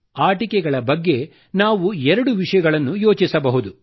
ಆಟಿಕೆಗಳ ಬಗ್ಗೆ ನಾವು ಎರಡು ವಿಷಯಗಳನ್ನು ಯೋಚಿಸಬಹುದು